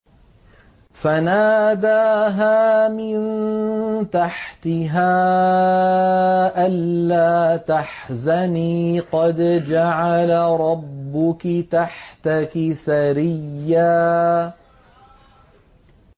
فَنَادَاهَا مِن تَحْتِهَا أَلَّا تَحْزَنِي قَدْ جَعَلَ رَبُّكِ تَحْتَكِ سَرِيًّا